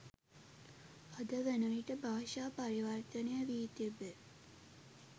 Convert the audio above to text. අද වනවිට භාෂා පරිවර්තනය වී තිබේ.